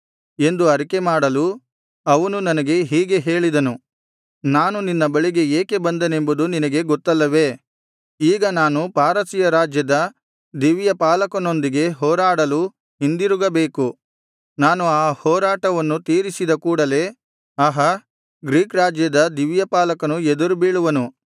ಎಂದು ಅರಿಕೆಮಾಡಲು ಅವನು ನನಗೆ ಹೀಗೆ ಹೇಳಿದನು ನಾನು ನಿನ್ನ ಬಳಿಗೆ ಏಕೆ ಬಂದೆನೆಂಬುದು ನಿನಗೆ ಗೊತ್ತಲ್ಲವೆ ಈಗ ನಾನು ಪಾರಸಿಯ ರಾಜ್ಯದ ದಿವ್ಯ ಪಾಲಕನೊಂದಿಗೆ ಹೋರಾಡಲು ಹಿಂದಿರುಗಬೇಕು ನಾನು ಆ ಹೋರಾಟವನ್ನು ತೀರಿಸಿದ ಕೂಡಲೆ ಆಹಾ ಗ್ರೀಕ್ ರಾಜ್ಯದ ದಿವ್ಯಪಾಲಕನು ಎದುರು ಬೀಳುವನು